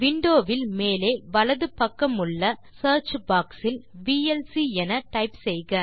windowவில் மேலே வலது பக்கமுள்ள சியர்ச் பாக்ஸ் இல் விஎல்சி என டைப் செய்க